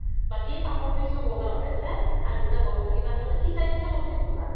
বাকি পাপৰ পিচও বগা হৈ আছে আৰু দুতা বগা বগা কিবা আছে মানে সিচাৰি খিনি complete বগা